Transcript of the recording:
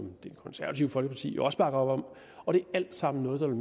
det konservative folkeparti jo også bakker op om og det er alt sammen noget der vil